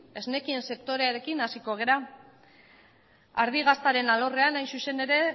esnekien sektorearekin hasiko gara ardi gaztaren alorrean hain zuzen ere